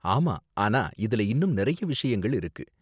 ஆமா, ஆனா இதுல இன்னும் நறைய விஷயங்கள் இருக்கு.